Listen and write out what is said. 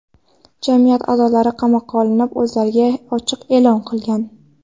Jamiyat a’zolari qamoqqa olinib, o‘zlariga ochlik e’lon qilgan.